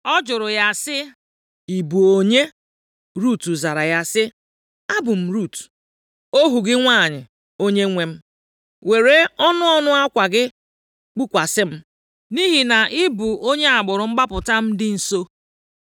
Ọ jụrụ ya sị, “Ị bụ onye?” Rut zara ya sị, “Abụ m Rut, ohu gị nwanyị, onyenwe m. Were ọnụ ọnụ akwa gị kpukwasị m, + 3:9 Mgbe nwoke were akwa, maọbụ ọnụ akwa gbasaa nwanyị nʼahụ, nke a na-egosi na ọ chọrọ ịlụ ya. \+xt Izk 16:8\+xt* nʼihi na ị bụ onye agbụrụ mgbapụta m dị nso.”